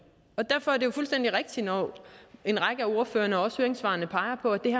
derfor er det fuldstændig rigtigt når en række af ordførerne og også høringssvarene peger på at det